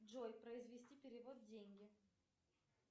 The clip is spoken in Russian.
джой произвести перевод деньги